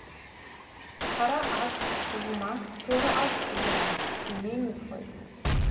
қара ат сұлу ма торы ат сұлу ма демейміз ғой